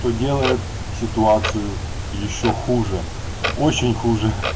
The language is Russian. то делает ситуацию ещё хуже очень хуже